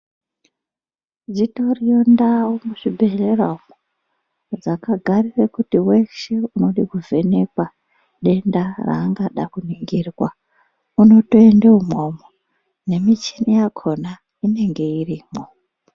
Dzitoriyo ndau muzvibhedhlera umwo dzakagarire kuti weshe unode kuvhenekwa denda raangada kuningirwa unotoende umwomwo nemichini yakhona inenge irimwo.